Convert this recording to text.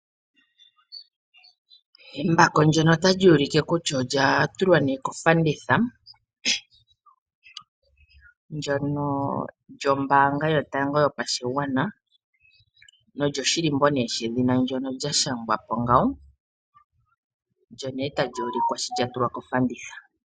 Embako ndyoka tali ulike kutya olya tulwa kofanditha ndyono lyobamga yotango yopashigwana nolyoshilimbo shedhina ndyoka lya shangwapo ngawo olyo ne ta luulikwa sho lya tulwa kofanditha.